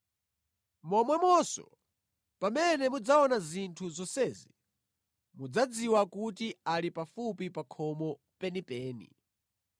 Momwemonso, pamene mudzaona zinthu zonsezi mudzadziwe kuti ali pafupi pa khomo penipeni.